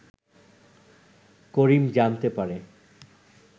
করিম জানতে পারে